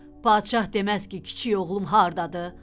Padşah deməz ki, kiçik oğlum hardadır?